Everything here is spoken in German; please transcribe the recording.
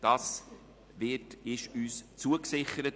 Dies wurde uns zugesichert.